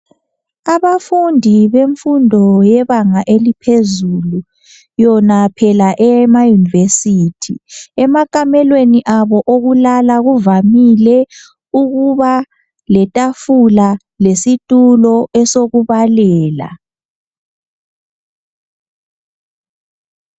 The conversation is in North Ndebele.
Abafundi bemfundo yebanga eliphezulu yona phela eyemayunivesithi. Emakamelweni abo okulala kuvamile ukuba letafula lesitulo esokubalela.